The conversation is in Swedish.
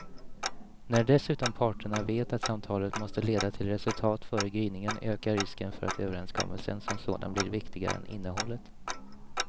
När dessutom parterna vet att samtalet måste leda till resultat före gryningen ökar risken för att överenskommelsen som sådan blir viktigare än innehållet.